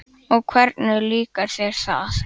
Og hvernig líkar þér þar?